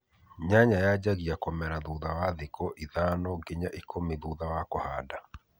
Nyanya yajagia kũmera thutha wa thikũ ithano nginya ikũmi thutha wa kuhada